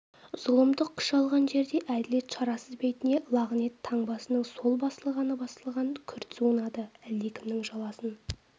зұлымдық күш алған жерде әділет шарасыз бетіне лағынет таңбасының сол басылғаны басылған күрт суынады әлдекімнің жаласын